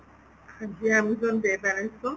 ਜੀ amazon pay balance ਤੋਂ